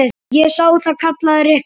Ég sá það. kallaði Rikka.